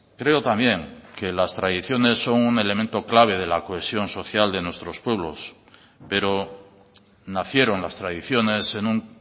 creo también que las tradiciones son un elemento clave de la cohesión social de nuestros pueblos pero nacieron las tradiciones en un